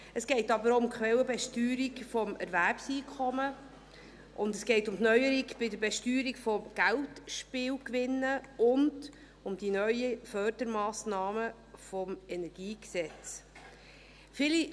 Es geht aber auch um die Quellenbesteuerung des Erwerbseinkommens, um die Neuerung bei der Besteuerung von Geldspielgewinnen und um die neuen Fördermassnahmen des Energiegesetzes (EnG).